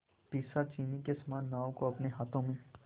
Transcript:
पिशाचिनी के समान नाव को अपने हाथों में